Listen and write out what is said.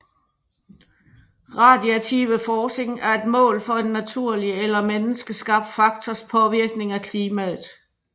Radiative forcing er et mål for en naturlig eller menneskeskabt faktors påvirkning af klimaet